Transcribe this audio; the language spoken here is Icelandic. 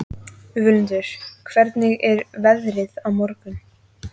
Völundur, hvernig er veðrið á morgun?